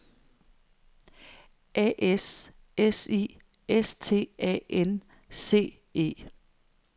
A S S I S T A N C E